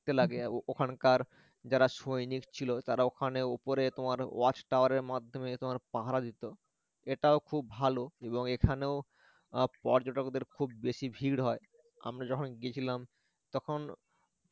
লাগে ও~ওখানকার যারা সৈনিক ছিল তারা ওখানে উপরে তোমার watch tower এর মাধ্যমে এ তোমার পাহারা দিতো এটাও খুব ভালো এবং এখানেও আহ পর্যটকদের খুব বোশ ভীড় হয় আমরা যখন গিয়েছিলাম তখন